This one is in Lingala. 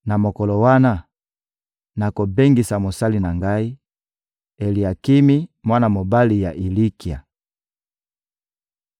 Na mokolo wana, nakobengisa mosali na Ngai, Eliakimi, mwana mobali ya Ilikia.